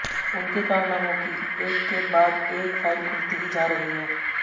उनके कारनामों की एक के बाद एक फाइल खुलती ही जा रही है